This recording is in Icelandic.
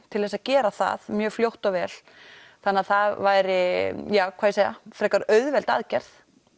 til þess að gera það mjög fljótt og vel þannig það væri frekar auðveld aðgerð